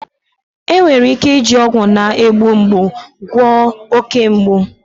Enwere ike iji ọgwụ na-egbu mgbu gwọọ oke mgbu.